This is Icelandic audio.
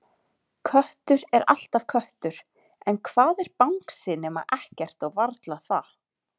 Köttur er alltaf köttur en hvað er bangsi nema ekkert og varla það.